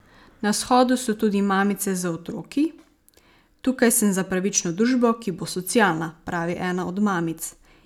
Na shodu so tudi mamice z otroki: 'Tukaj sem za pravično družbo, ki bo socialna,' pravi ena od mamic.